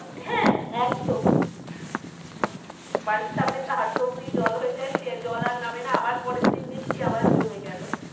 হ্যাঁ একদম বাড়ির সামনে তো হাঁটু অব্দি জল হয়ে যায় সে জল আর নামে না পরের দিন বৃষ্টি আবার জল জমে গেলো।